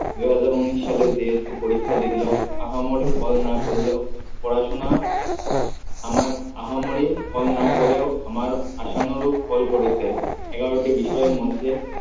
দু হাজার উন্নিশ সালে পরীক্ষা দিলো আহামরি ফল না করলেও পড়াশোনা আমার আহামরি ফল না করেও আমার আশানরুপ ফল করেছে, এগারোটি বিষয় এর মধ্যে